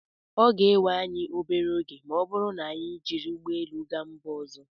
ọ ga-ewe anyị obere oge ma ọ bụrụ na anyị jiri ụgbọ elu gaa mba ọzọ